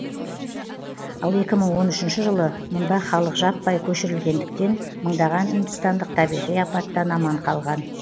ал екі мың он үшінші жылы мұнда халық жаппай көшірілгендіктен мыңдаған үндістандық табиғи апаттан аман қалған